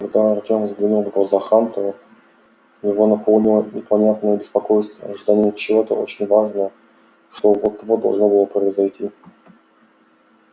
когда артём взглянул в глаза хантеру его наполнило непонятное беспокойство ожидание чего-то очень важного что вот-вот должно было произойти